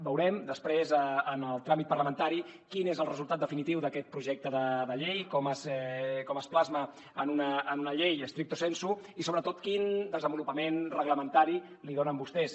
veurem després en el tràmit parlamentari quin és el resultat definitiu d’aquest projecte de llei com es plasma en una llei stricto sensulupament reglamentari li donen vostès